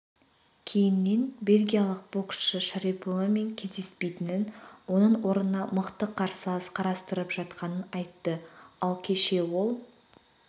кейіннен бельгиялық боксшы шариповамен кездеспейтінін оның орнына мықты қарсылас қарастырып жатқанын айтты ал кеше ол